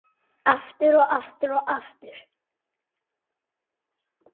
Aftur, og aftur, og aftur.